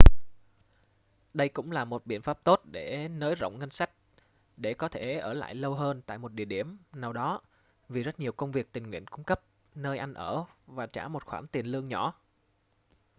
đây cũng là một biện pháp tốt để nới rộng ngân sách để có thể ở lại lâu hơn tại một địa điểm nào đó vì rất nhiều công việc tình nguyện cung cấp nơi ăn ở và trả một khoản tiền lương nhỏ